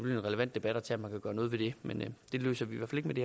en relevant debat at tage om man kan gøre noget ved det men det løser vi